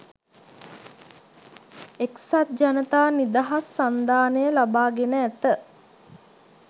එක්සත්ජනතා නිදහස් සන්ධානය ලබාගෙන ඇත.